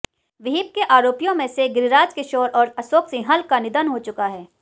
विहिप के आरोपियों में से गिरिराज किशोर और अशोक सिंहल का निधन हो चुका है